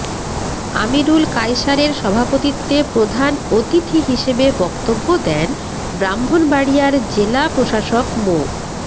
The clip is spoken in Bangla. আমিরুল কায়সারের সভাপতিত্বে প্রধান অতিথি হিসেবে বক্তব্য দেন ব্রাহ্মণবাড়িয়ার জেলা প্রশাসক মো